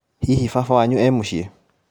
Hihi baba wanyu e mũciĩ ?